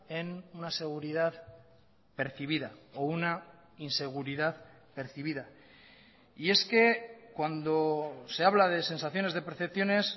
en una seguridad percibida o una inseguridad percibida y es que cuando se habla de sensaciones de percepciones